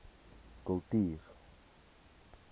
kultuur